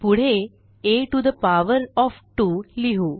पुढे 160 आ to the power of 2 लिहु